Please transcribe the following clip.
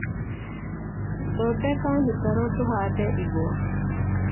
Thondeka mĩtaro tũhande igwa